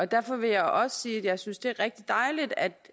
derfor vil jeg også sige at jeg synes det er rigtig dejligt at